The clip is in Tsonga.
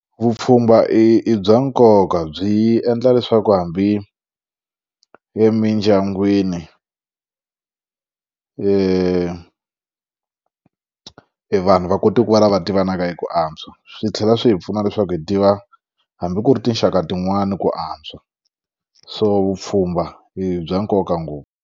Vupfhumba i bya nkoka byi endla leswaku hambi emindyangwini e e vanhu va kote ku valava tivanaka eku antswa swi tlhela swi hi pfuna leswaku hi tiva hambi ku ri tinxaka tin'wani ku antswa so vupfhumba i bya nkoka ngopfu.